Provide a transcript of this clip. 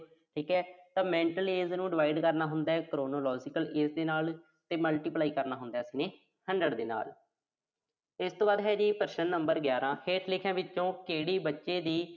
ਠੀਕਾ। ਤਾਂ mental age ਨੂੰ divide ਕਰਨਾ ਹੁੰਦਾ chronological age ਦੇ ਨਾਲ, ਤੇ multiply ਕਰਨਾ ਹੁੰਦਾ ਆਪਾਂ ਨੇ hundred ਦੇ ਨਾਲ। ਇਸ ਤੋਂ ਬਾਅਦ ਹੈ ਜੀ ਪ੍ਰਸ਼ਨ number ਗਿਆਰ੍ਹਾਂ। ਹੇਠ ਲਿਖਿਆਂ ਵਿੱਚੋਂ ਕਿਹੜੇ ਬੱਚੇ ਦੀ।